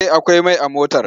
Eh akwai mai a motar!